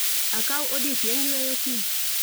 Akaw odiechieng' yweyo kiny